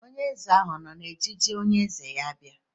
Onye eze ahụ ọ nọ n'ejiji onye eze ya bịa?